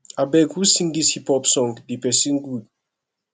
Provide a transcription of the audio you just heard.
abeg who sing dis hip hop song the person good